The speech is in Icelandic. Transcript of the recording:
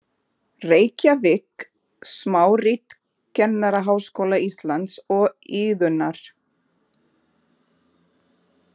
Reykjavík: Smárit Kennaraháskóla Íslands og Iðunnar.